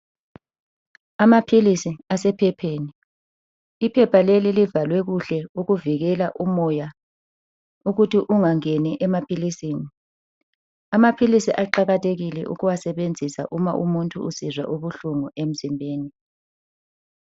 Amaphilisi asephepheni iphepha leli livalwe kuhle okuvikela umoya ukuthi ungangeni emaphilisini. Amaphilisi aqakathekile ukuwasebenzisa uma umuntu esizwa ubuhlungu emzimbeni.